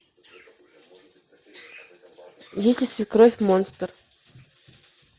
если свекровь монстр